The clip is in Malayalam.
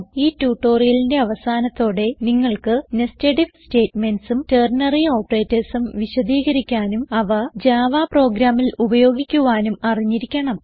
ഈ ട്യൂട്ടോറിയലിന്റെ അവസാനത്തോടെ നിങ്ങൾക്ക് nested ഐഎഫ് Statementsഉം ടെർണറി operatorsഉം വിശദീകരിക്കാനും അവ ജാവ പ്രോഗ്രാമിൽ ഉപയോഗിക്കുവാനും അറിഞ്ഞിരിക്കണം